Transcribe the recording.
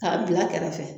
K'a bila kɛrɛfɛ